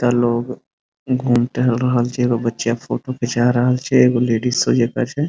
एता लोग घूम टहल रहल छै एगो बच्चियाँ फोटो खींचा रहल छै एगो लेडीज जका छै।